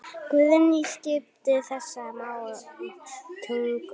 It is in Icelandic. Hann sagði Júlía!